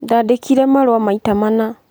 Ndaandĩkire marũa maita mana.